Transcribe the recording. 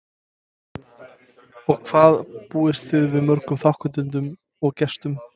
Og hvað búist þið við mörgum þátttakendum og gestum?